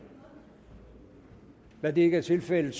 da det ikke er tilfældet